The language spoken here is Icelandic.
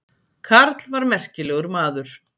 Karl var merkilegur maður.